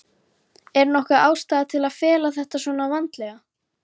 Er nokkur ástæða til að fela þetta svona vandlega?